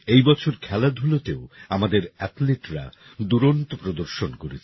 এই বছর খেলাধুলোতেও আমাদের অ্যাথলীটরা দুরন্ত প্রদর্শন করেছে